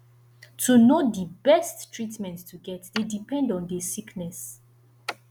to know di best treatment to get dey depend on the sickness